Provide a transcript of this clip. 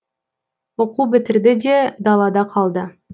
оқу бітірді де далада қалды